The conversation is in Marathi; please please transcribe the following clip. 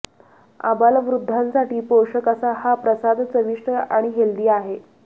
आबालवृद्धांसाठी पोषक असा हा प्रसाद चविष्ट आणि हेल्दी आहे